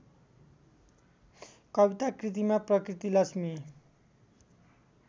कविताकृतिमा प्रकृति लक्ष्मी